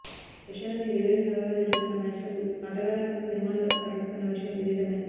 రష్యాలోని వేర్వేరు నగరాల్లో జరుగుతున్న మ్యాచ్లకు ఆటగాళ్లను విమానాల్లో తరలిస్తున్న విషయం విధితమే